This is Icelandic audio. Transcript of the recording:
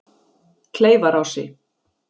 Kleifarási